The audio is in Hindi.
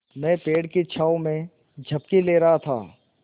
मैं पेड़ की छाँव में झपकी ले रहा था